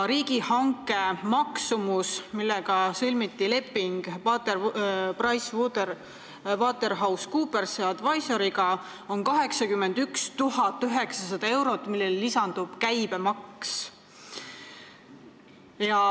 Riigihanke käigus sõlmiti PricewaterhouseCoopers Advisoriga leping, mille maksumus on 81 900 eurot, millele lisandub käibemaks.